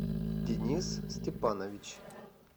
денис степанович